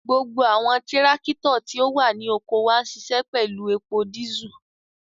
Gbogbo awọn tirakito ti o wa ni oko wa nṣiṣẹ pẹlu epo disú